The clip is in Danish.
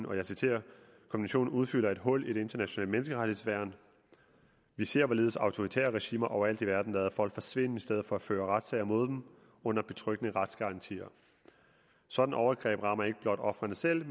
og jeg citerer konventionen udfylder et hul i det internationale menneskerettighedsværn vi ser hvorledes autoritære regimer overalt i verden lader folk forsvinde i stedet for at føre retssager mod dem under betryggende retsgarantier sådanne overgreb rammer ikke blot ofrene selv